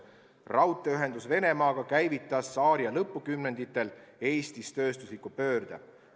Raudteeühendus Venemaaga käivitas tsaariaja lõpukümnenditel Eestis tööstusliku pöörde.